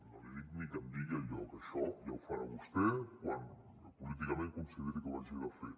no li dic ni que em di·gui el lloc això ja ho farà vostè quan políticament consideri que ho ha de fer